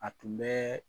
A tun bɛ